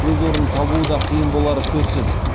өз орнын табуы да қиын болары сөзсіз